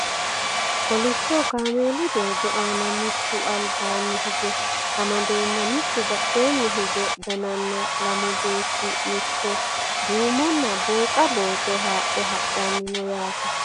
kolishsho kaameelu doogo aana mittu albaanni hige amadeenna mittu badheenni hige gananna lamu beetti mitto duumonna booqa booto haadhe hadhanni no yaaet